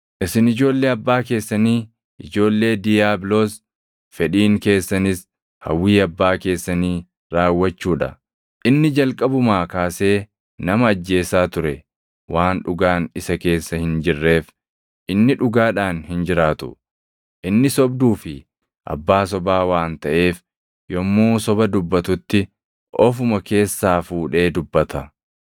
Isin ijoollee abbaa keessanii ijoollee diiyaabiloos; fedhiin keessanis hawwii abbaa keessanii raawwachuu dha. Inni jalqabumaa kaasee nama ajjeesaa ture; waan dhugaan isa keessa hin jirreef inni dhugaadhaan hin jiraatu. Inni sobduu fi abbaa sobaa waan taʼeef yommuu soba dubbatutti ofuma keessaa fuudhee dubbata.